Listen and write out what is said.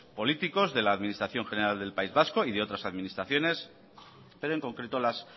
políticos de la administración general del país vasco y de otras administraciones pero en concreto las